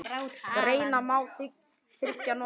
Greina má milli þriggja nota